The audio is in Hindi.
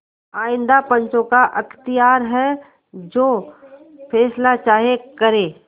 आइंदा पंचों का अख्तियार है जो फैसला चाहें करें